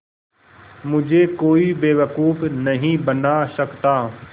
मुझे कोई बेवकूफ़ नहीं बना सकता